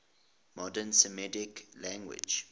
modern semitic languages